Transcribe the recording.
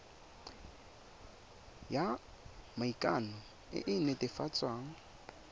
ya maikano e e netefatsang